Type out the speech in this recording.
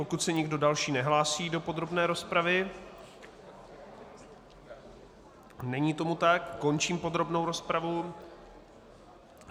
Pokud se nikdo další nehlásí do podrobné rozpravy - není tomu tak - končím podrobnou rozpravu.